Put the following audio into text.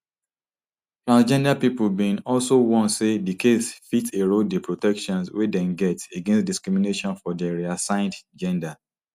transgender pipo bin also warn say di case fit erode di protections wey dem get against discrimination for dia reassigned gender